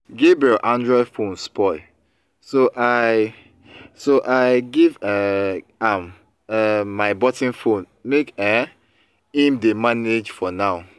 gabriel android phone spoil so i so i give um am um my button phone make um im dey manage for now